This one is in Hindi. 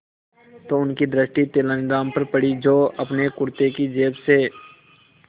तो उनकी दृष्टि तेनालीराम पर पड़ी जो अपने कुर्ते की जेब से